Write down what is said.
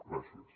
gràcies